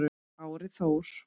Kári Þór.